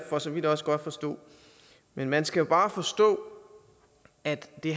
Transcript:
for så vidt også godt forstå men man skal jo bare forstå at det